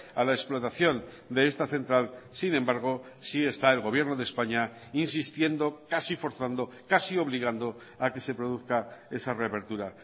a la explotación de esta central sin embargo sí está el gobierno de españa insistiendo casi forzando casi obligando a que se produzca esa reapertura